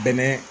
Bɛnɛ